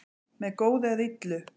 Með góðu eða illu